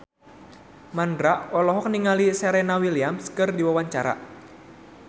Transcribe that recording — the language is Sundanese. Mandra olohok ningali Serena Williams keur diwawancara